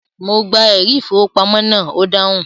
Mo gba “ ẹ̀rí-ìfowópamọ́” náà, ó dáhùn.